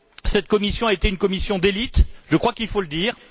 Cette commission a été une commission d'élite, je crois qu'il faut le dire.